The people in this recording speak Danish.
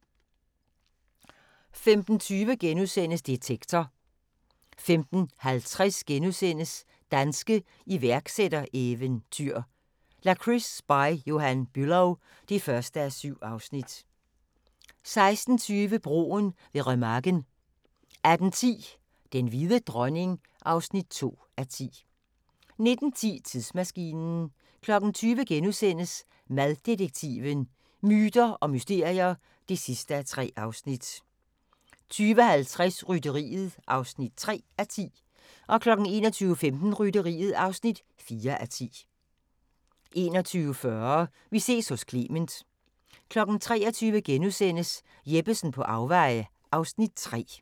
15:20: Detektor * 15:50: Danske iværksættereventyr – Lakrids By Johan Bülow (1:7)* 16:20: Broen ved Remagen 18:10: Den hvide dronning (2:10) 19:10: Tidsmaskinen 20:00: Maddetektiven: Myter og mysterier (3:3)* 20:50: Rytteriet (3:10) 21:15: Rytteriet (4:10) 21:40: Vi ses hos Clement 23:00: Jeppesen på afveje (Afs. 3)*